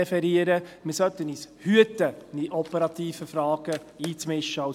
Als Grosser Rat sollten wir uns davor hüten, uns in operative Fragen einzumischen.